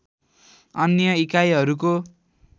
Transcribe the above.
अन्य इकाइहरूको